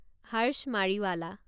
Harsh Mariwala